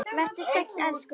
Vertu sæll, elsku pabbi.